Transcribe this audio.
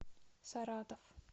саратов